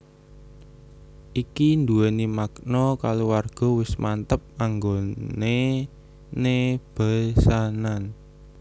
Iki duweni makna kaluwarga wis mantep anggonené besanan